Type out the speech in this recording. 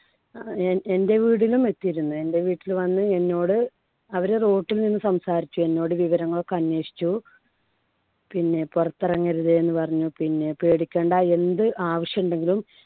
അഹ് എൻടെ വീടിലും എത്തിയിരുന്നു. എൻടെ വീട്ടിൽ വന്ന് എന്നോട് അവര് റോട്ടില്‍ നിന്ന് സംസാരിച്ചു. എന്നോട് വിവരങ്ങളൊക്കെ അന്വേഷിച്ചു. പിന്നെ പുറത്തിറങ്ങരുത് എന്ന് പറഞ്ഞു. പിന്നെ പേടിക്കേണ്ട എന്ത് ആവശ്യുണ്ടെങ്കിലും